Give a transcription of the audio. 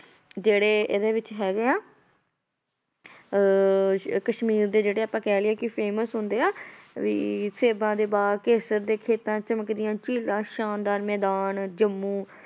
ਜਿਹੜੇ ਇਹਦੇ ਵਿੱਚ ਹੈਗੇ ਆ ਅਹ ਕਸ਼ਮੀਰ ਦੇ ਜਿਹੜੇ ਆਪਾਂ ਕਹਿ ਲਈਏ ਕਿ famous ਹੁੰਦੇ ਆ, ਵੀ ਸੇਬਾਂ ਦੇ ਬਾਗ਼, ਕੇਸਰ ਦੇ ਖੇਤਾਂ, ਚਮਕਦੀਆਂ ਝੀਲਾਂ, ਸ਼ਾਨਦਾਰ ਮੈਦਾਨ ਜੰਮੂ